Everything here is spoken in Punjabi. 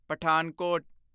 ਪਠਾਨਕੋਟ